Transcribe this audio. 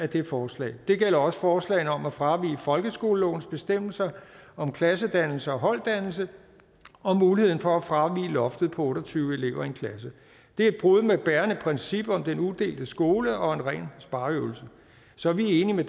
det forslag det gælder også forslagene om at fravige folkeskolelovens bestemmelser om klassedannelse og holddannelse og muligheden for at fravige loftet på otte og tyve elever i en klasse det er et brud med et bærende princip om den udelte skole og en ren spareøvelse så vi er enige med